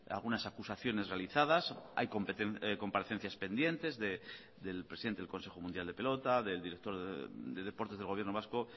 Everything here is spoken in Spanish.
algunas acusaciones realizadas hay comparecencias pendientes del presidente del consejo mundial de pelota del director de deportes del gobierno vasco